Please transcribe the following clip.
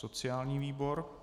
Sociální výbor.